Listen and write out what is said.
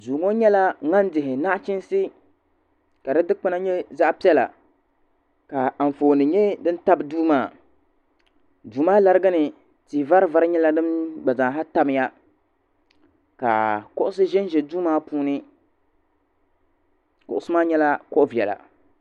Duu ŋɔ nyɛla ŋan dihi naɣachiinsi ka di dikpina nyɛ zaɣa piɛla ka anfooni nyɛ fin tabi duu maa duu maa larigini tia vari vari nyɛla din gba zaaha tamya ka kuɣusi ʒɛnʒɛ duu maa puuni kuɣusi maa nyɛla kuɣa viɛla.